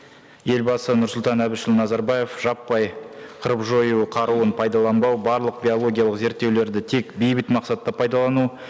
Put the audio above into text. елбасы нұрсұлтан әбішұлы назарбаев жаппай қырып жою қаруын пайдаланбау барлық биологиялық зерттеулерді тек бейбіт мақсатта пайдалану